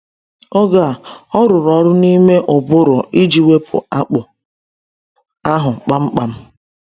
Oge a, o rụrụ ọrụ n’ime ụbụrụ iji wepụ akpụ ahụ kpamkpam.